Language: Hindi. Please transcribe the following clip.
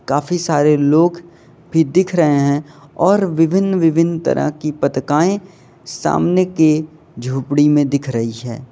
काफी सारे लोग भी दिख रहे हैं और विभिन्न-विभिन्न तरह की पत्रिकाएं सामने के झोपड़ी में दिख रही है।